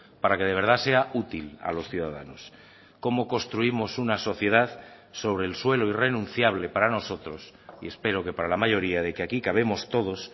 para que de verdad sea útil a los ciudadanos cómo construimos una sociedad sobre el suelo irrenunciable para nosotros y espero que para la mayoría de que aquí cabemos todos